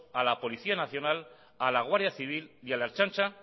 a la policía nacional a la guardia civil y a la ertzaintza